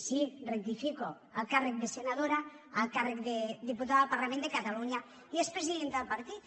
sí ho rectifico el càrrec de senadora el càrrec de diputada al parlament de catalunya i és presidenta del partit